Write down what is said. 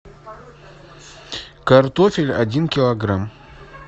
картофель один килограмм